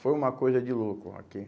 Foi uma coisa de louco, aqui.